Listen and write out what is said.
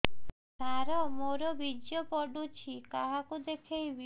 ସାର ମୋର ବୀର୍ଯ୍ୟ ପଢ଼ୁଛି କାହାକୁ ଦେଖେଇବି